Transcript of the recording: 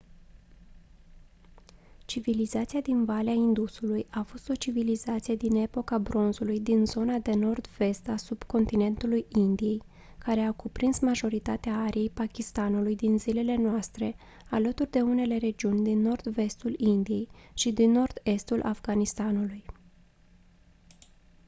civilizația din valea indusului a fost o civilizație din epoca bronzului din zona de nord-vest a subcontinentului indiei care a cuprins majoritatea ariei pakistanului din zilele noastre alături de unele regiuni din nord-vestul indiei și din nord-estul afganistanului